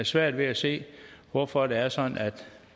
svært ved at se hvorfor det er sådan at